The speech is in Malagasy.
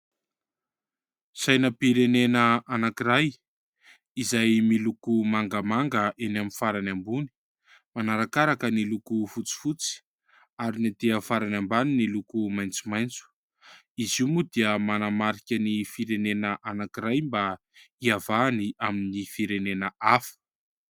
Sainam-pirenena anankiray izay miloko mangamanga eny amin'ny farany ambony, manarakaraka ny loko fotsifotsy ary ny etỳ amin'ny farany ambany ny loko maitsomaitso. Izy io moa dia manamarika ny firenenena anankiray mba hihavahany amin'ny firenena hafa.